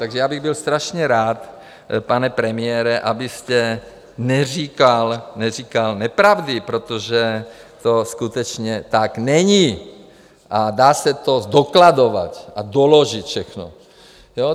Takže já bych byl strašně rád, pane premiére, abyste neříkal nepravdy, protože to skutečně tak není, a dá se to zdokladovat a doložit všechno.